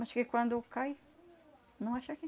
Mas que quando cai, não acha que...